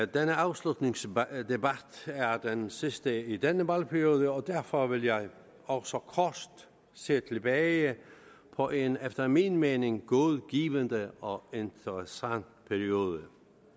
denne afslutningsdebat er den sidste i denne valgperiode og derfor vil jeg også kort se tilbage på en efter min mening god givende og interessant periode